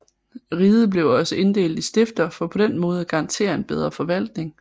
Riget blev også inddelt i stifter for på den måde at garantere en bedre forvaltning